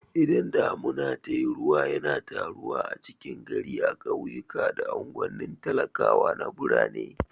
Idan damuna tayi ruwa yana taruwa a cikin gari a ƙauyuka da anguwanin talakawa na birane